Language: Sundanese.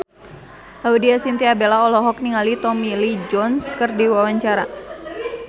Laudya Chintya Bella olohok ningali Tommy Lee Jones keur diwawancara